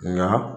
Nka